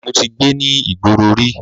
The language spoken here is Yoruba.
Mo ti gbé ní ìgboro rí.